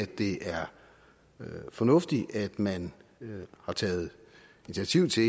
det er fornuftigt at man har taget initiativ til